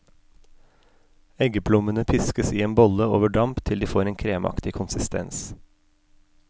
Eggeplommene piskes i en bolle over damp til de får en kremaktig konsistens.